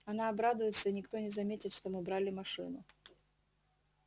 она обрадуется и никто не заметит что мы брали машину